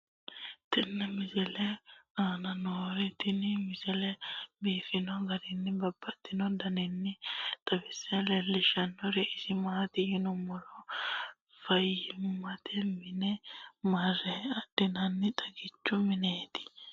tenne misile aana noorina tini misile biiffanno garinni babaxxinno daniinni xawisse leelishanori isi maati yinummoro fayiimmatte minne marre adhinaniwa xagichchu minneetti